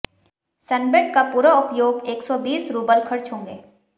sunbed का पूरा उपयोग एक सौ बीस रूबल खर्च होंगे